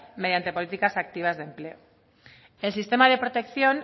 mediante políticas activas de empleo el sistema de protección